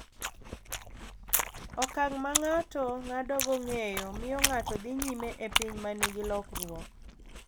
Okang’ ma ng’ato ng’adogo ng’eyo miyo ng’ato dhi nyime e piny ma nigi lokruok,